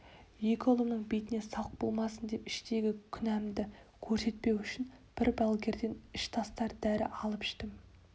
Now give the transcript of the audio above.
екі ұлымның бетіне салық болмасын деп іштегі күнәмды көрсетпеу үшін бір балгерден іш тастатар дәрі алып іштім